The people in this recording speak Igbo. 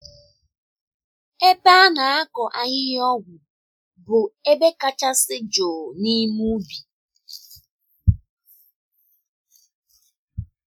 Ebe a na-akọ ahihia-ọgwụ bụ ebe kachasị jụụ n’ime ubi.